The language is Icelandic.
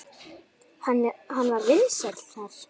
Hann var vinsæll þar.